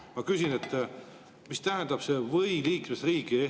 Ma küsin, mis tähendab see "või selle liikmesriigi".